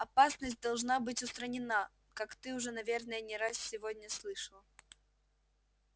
опасность должна быть устранена как ты уже наверное не раз сегодня слышал